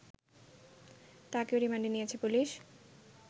তাকেও রিমান্ডে নিয়েছে পুলিশ